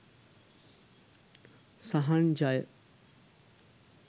සහන් ජය